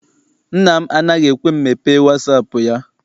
Nna m anaghị ekwe m mepee wasaapụ ya.